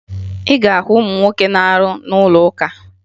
Ị ga-ahụ ụmụ nwoke na-arụ n'ụlọakụ